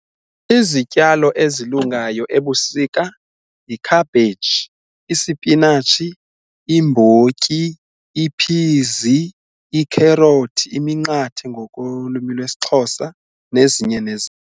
Izityalo ezilungayo ebusika yikhabheji, isipinatshi, imbotyi, iphizi, ikherothi iminqathe ngokolwimi lwesiXhosa nezinye nezinye.